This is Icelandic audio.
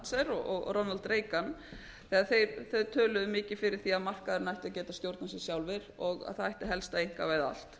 thatcher og ronald reagan þegar þau töluðu mikið fyrir því að markaðurinn ætti að geta stjórnað sér sjálfir og það ætti helst að einkavæða allt